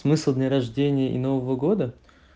смысл дня рождения и нового года